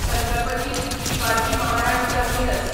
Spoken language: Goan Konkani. छत्रपती शिवाजी महाराज टर्मिनस